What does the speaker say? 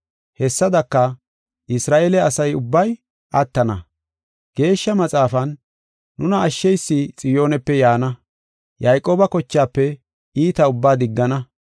Hessadaka, Isra7eele asa ubbay attana. Geeshsha Maxaafan, “Nuna ashsheysi Xiyoonepe yaana; Yayqooba kochaafe iita ubbaa diggana.